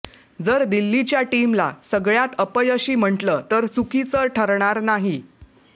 जर दिल्लीच्या टीमला सगळ्यात अपयशी म्हटलं तर चुकीचं ठरणार नाही